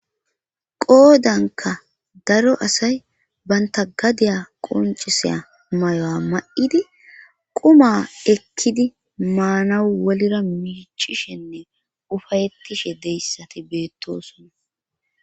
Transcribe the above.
Qoodanka daro asay banta gadeya qonciseya may7o7a ma7idi quma ekkidi maanawu wolira miichishenne ufayettishe deyssati beettosona.